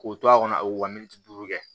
K'o to a kɔnɔ o ka miniti duuru kɛ